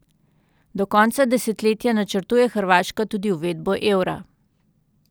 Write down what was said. Do konca desetletja načrtuje Hrvaška tudi uvedbo evra.